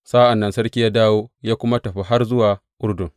Sa’an nan sarki ya dawo, ya kuma tafi har zuwa Urdun.